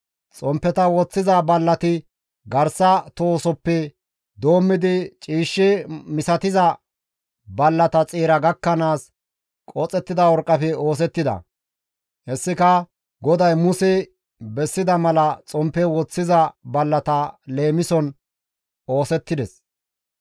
Xomppeta istta bolla woththiza ballati garsa tohosoppe doommidi ciishshe misatiza ballata xeera gakkanaas qoxettida worqqafe oosettida; heytikka GODAY Muse bessida mala xomppe istta bolla woththiza ballata leemison oosettida.